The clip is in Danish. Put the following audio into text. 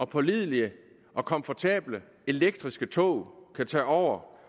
pålidelige og komfortable elektriske tog kan tage over